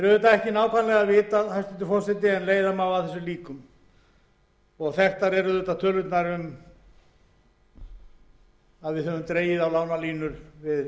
er ekki vitað nákvæmlega en leiða má að því líkur þær tölur eru þekktar sem við höfum dregið á lánalínur við þær heimildir sem við höfum samið um við norðurlandaþjóðirnar